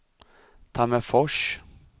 Tammerfors